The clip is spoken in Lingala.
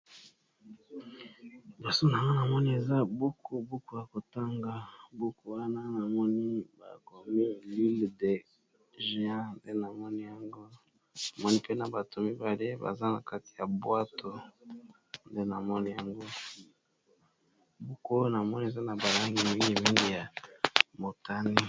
Baso na ma namoni eza buku, buku ya kotanga buku wana na moni ba komi lule de géan nde na moni yango. Namoni mpe na bato mibale baza na kati ya bwato, namoniyango buku na moni eza na balangi mingi mingi ya motani.